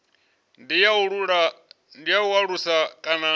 ndi ya u alusa kana